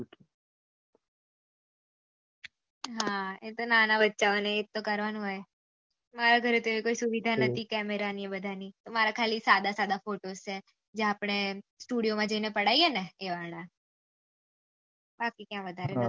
હા એ તો નાના બચ્ચાઅઓને એજ તો કરવાનું હોય મારા ઘરે એવી કઈ સુવિધા નહિ હતી કેમરા ની મારા ખાલી સાદા સાદા ફોટોસ છે એ આપળે સ્ટુડીઓ માં જઈને પડાયીયે ને એ વાળા